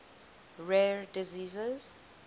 rare diseases